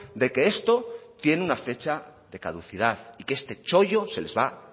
de que esto tiene una fecha de caducidad y que este chollo se les va